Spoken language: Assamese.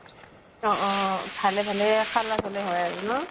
অ অ অহ। ভালে ভালে খালাচ হʼলে হয় আৰু ন?